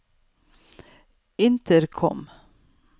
intercom